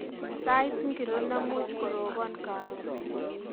Sait ngiro nemuch koroban karon